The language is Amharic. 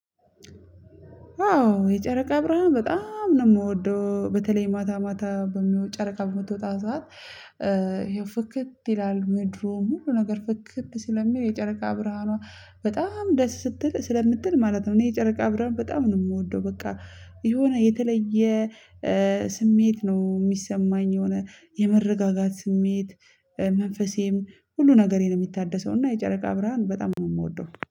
አዎ የጨረቃ ብርሃን በጣም ነው የምወደው በተለይ ማታ ማታ በሚወድ ጨረቃ በምትወጣ ሰዓት ይኸው ፍክት ይላል ምድሩ ሙሉ ነገር ፍክት ስለሚል የጨረቃ ብርሃኗ በጣም ደስ ስትል ስለምትል ማለት ነው። እኔ የጨረቃ አብረን በጣም ነው የምወደው በቃ የሆነ የተለየ ስሜት ነው የሚሰማኝ። የሆነ የመረጋጋት ስሜት። መንፈሴም ሁሉ ነገሬን የሚታደሰው እና የጨረቃ ብርሃን በጣም ነው የምወደው